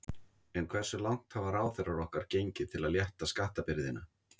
En hversu langt hafa ráðherrar okkar gengið til að létta skattabyrðina?